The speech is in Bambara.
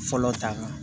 Fɔlɔ ta kan